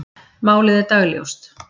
Málið er dagljóst.